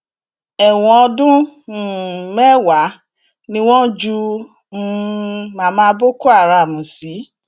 ẹwọn ọdún um mẹwàá ni wọn ju um mama boko haram sí